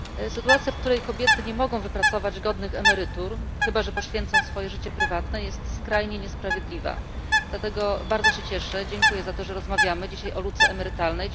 Sytuacja, w której kobiety nie mogą wypracować godnych emerytur, chyba że poświęcą swoje życie prywatne, jest skrajnie niesprawiedliwa. Dlatego bardzo się cieszę, dziękuję za to, że rozmawiamy dzisiaj o luce emerytalnej.